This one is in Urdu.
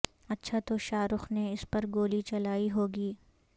اچھا تو شاہ رخ نے اس پر گولی چلائی ہوگی